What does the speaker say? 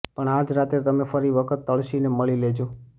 પણ આજ રાત્રે તમે ફરી વખત તળશીને મળી લેજો